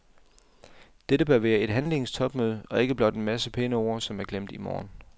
Dette bør være et handlingens topmøde og ikke blot en masse pæne ord, som er glemt i morgen.